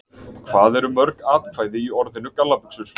Hvað eru mörg atkvæði í orðinu gallabuxur?